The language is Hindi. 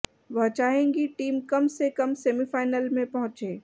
वह चाहेंगी टीम कम से कम सेमीफाइनल में पहुंचे